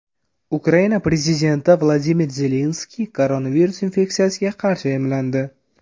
Ukraina prezidenti Vladimir Zelenskiy koronavirus infeksiyasiga qarshi emlandi.